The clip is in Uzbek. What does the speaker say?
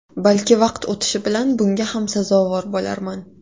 Balki vaqt o‘tishi bilan bunga ham sazovor bo‘larman.